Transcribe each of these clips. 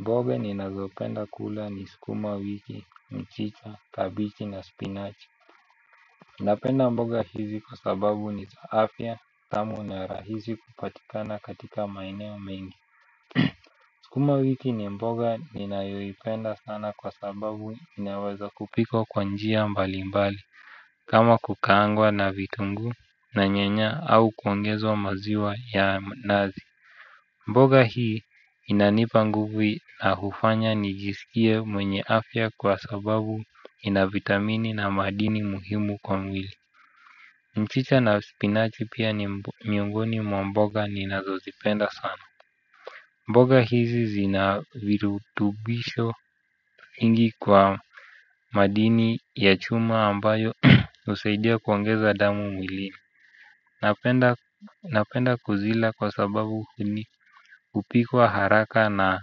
Mboga ninazopenda kula ni skuma wiki, mchicha, kabichi na spinach. Napenda mboga hizi kwa sababu ni za afya tamu na rahizi kupatikana katika maeneo mengi. Skuma wiki ni mboga ninayoipenda sana kwa sababu inaweza kupikwa kwa njia mbali mbali. Kama kukaangwa na vitungu na nyanya au kuongezwa maziwa ya mnazi. Mboga hii inanipa nguvu na hufanya nijisikie mwenye afya kwa sababu ina vitamini na madini muhimu kwa mwili. Mchicha na spinachi pia ni miongoni mwa mboga ni nazozipenda sana. Mboga hizi zinavirutubisho vingi kwa madini ya chuma ambayo usaidia kuongeza damu mwili napenda. Napenda kuzila kwa sababu hupikwa haraka na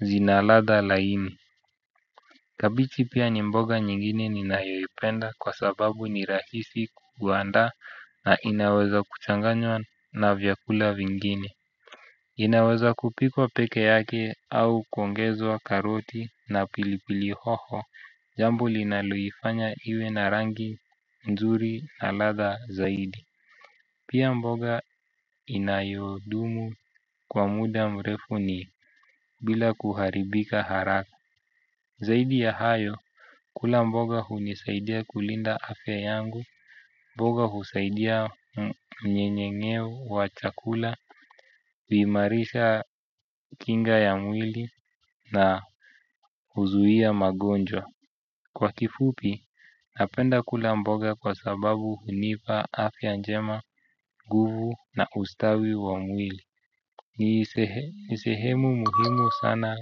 zina ladha laini. Kabichi pia ni mboga nyingine ninayoipenda kwa sababu ni rahisi kugwandaa na inaweza kuchanganywa na vyakula vingine. Inaweza kupikwa peke yake au kuongezwa karoti na pilipili hoho. Jambo linaloifanya iwe na rangi nzuri na ladha zaidi. Pia mboga inayodumu kwa muda mrefu ni bila kuharibika haraka. Zaidi ya hayo, kula mboga hunisaidia kulinda afya yangu. Mboga husaidia mnyenyeng'eo wa chakula, vimarisha kinga ya mwili na huzuia magonjwa. Kwa kifupi, napenda kula mboga kwa sababu hunipa afya njema guvu na ustawi wa mwili ni sehemu muhimu sana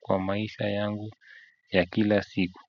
kwa maisha yangu ya kila siku.